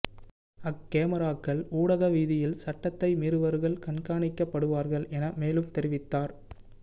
அக் கமராக்கள் ஊடக வீதியில் சட்டத்தை மீறுபவர்கள் கண்காணிக்கப்படுவார்கள் என மேலும் தெரிவித்தார்